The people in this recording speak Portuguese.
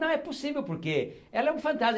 Não é possível porque ela é um fantasma.